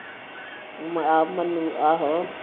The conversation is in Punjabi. ਆ ਮਨੂੰ ਆਹੋ